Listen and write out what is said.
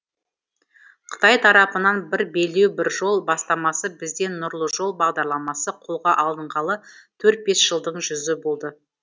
қытай тарапынан бір белдеу бір жол бастамасы бізден нұрлы жол бағдарламасы қолға алынғалы төрт бес жылдың жүзі болды